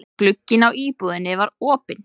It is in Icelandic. Glugginn á íbúðinni var opinn.